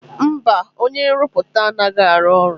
Mba, onye nrụpụta anaghị arụ ọrụ.